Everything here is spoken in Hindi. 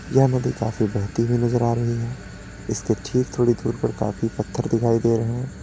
यह नदी काफी बहती हुई नजर आ रही है इसके ठीक थोड़ी दूर पर काफी पत्थर दिखाई दे रहे--